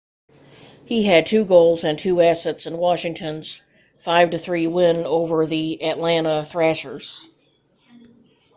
he had 2 goals and 2 assists in washington's 5-3 win over the atlanta thrashers